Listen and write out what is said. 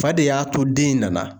Fa de y'a to den in nana.